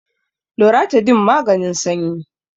loratadine maganin sanyi